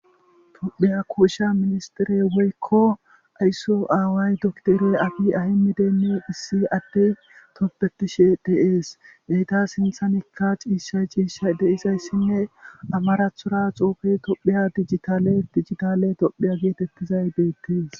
Tophiya kuusha ministirey woykko aysso aaway doktore afi ahimideenne issi atte toppetishe deees deyta sinthanikka ciishay ciisha deisayssinne amarathora xoufe tophiya dijitale dijitale tophiya geetettizay deettees.